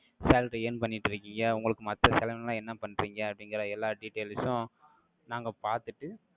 salary earn பண்ணிட்டு இருக்கீங்க? உங்களுக்கு மத்த செலவெல்லாம், என்ன பண்றீங்க? அப்படிங்கிற எல்லா details உம், நாங்க பார்த்துட்டு,